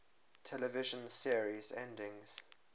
television series endings